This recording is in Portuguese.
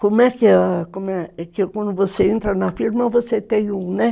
Como é que... Como é ,quando você entra na firma, você tem um, né?